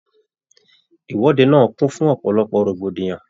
Ìwọde náà kún fún ọ̀pọ̀lọpọ̀ rògbòdìyàn.